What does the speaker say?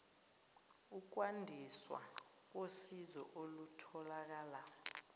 ukwandiswa kosizo olutholakala